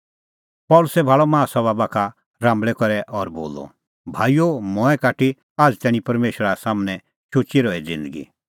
पल़सी भाल़अ माहा सभा बाखा राम्बल़ै करै और बोलअ भाईओ मंऐं काटी आझ़ तैणीं परमेशरा सम्हनै शुचै रही ज़िन्दगी